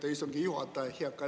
Aitäh, istungi juhataja!